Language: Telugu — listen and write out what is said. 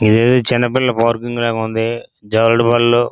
ఇది చిన్న పిల్లల పార్కింగ్ లాగా ఉంది. జారుడుబండలు --